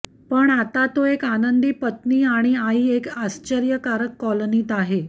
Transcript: पण आता तो एक आनंदी पत्नी आणि आई एक आश्चर्यकारक कॉलनीत आहे